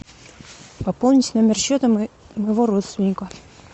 пополнить номер счета моего родственника